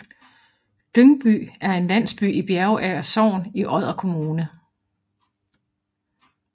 Dyngby er en landsby i Bjerager Sogn i Odder Kommune